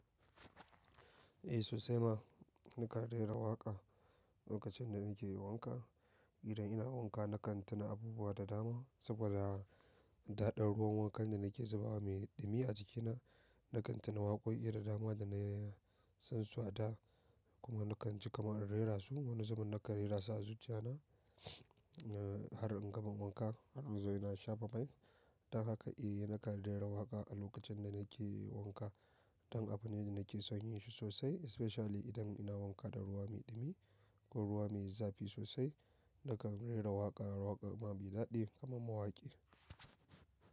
Eh sosai ma na kan rera waƙa lokacin da nake yi wanka. Idan ina wanka na kan tuna abubuwa da dama saboda daɗaɗɗen ruwan wankan da nake zuba mai ɗumi a jikina. Na kan tuna waƙoƙi da dama da na san su a da kuma na kan ji kamar in rera su. Wani zubin na kan rera su a zuciya na har in gama wanka har inzo ina shafa mai. Don haka eh na kan rera waƙa a lokacin da nake yi wanka. Dan abu ne da nake son yin shi sosai especially idan ina wanka da ruwa mai ɗumi ko ruwa mai zafi sosai. Na kan rera waƙa, waƙoƙi mai daɗi kuma mawaƙi.